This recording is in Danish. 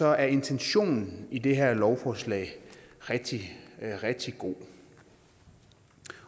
er intentionen i det her lovforslag rigtig rigtig god